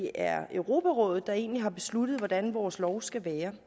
er europarådet der egentlig har besluttet hvordan vores lov skal være